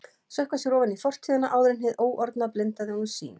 Sökkva sér ofan í fortíðina áður en hið óorðna blindaði honum sýn.